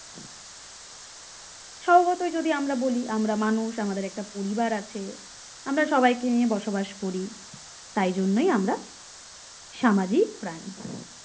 স্যবভাবতই যদি আমরা বলি আমরা মানুষ আমাদের একটা পরিবার আছে আমরা সবাইকে নিয়ে বসবাস করি তাই জন্যই আমরা সামাজিক প্রাণী